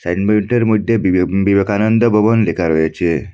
মধ্যে বি বিবেকানন্দ ভবন লেখা রয়েছে।